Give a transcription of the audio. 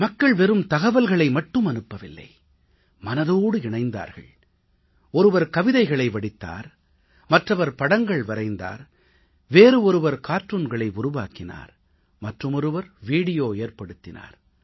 மக்கள் வெறும் தகவல்களை மட்டும் அனுப்பவில்லை மனதோடு இணைந்தார்கள் ஒருவர் கவிதைகளை வடித்தார் மற்றவர் படங்கள் வரைந்தார் வேறு ஒருவர் கார்ட்டூன்களை உருவாக்கினார் மற்றுமொருவர் வீடியோ தயாரித்தார்